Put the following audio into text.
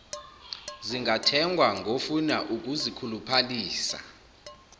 zingathengwa ngofuna ukuzikhuluphalisa